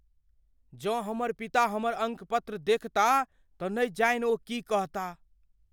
जँ हमर पिता हमर अंकपत्र देखताह तँ नहि जानि ओ की कहताह।